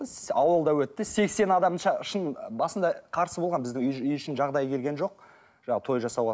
ауылда өтті сексен адам шын басында қарсы болған біздің үй үй ішінің жағдайы келген жоқ жаңағы той жасауға